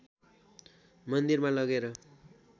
मन्दिरमा लगेर